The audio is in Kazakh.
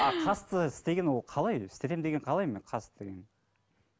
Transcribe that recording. а қасты істеген ол қалай өзі істетемін деген қалай мына қас деген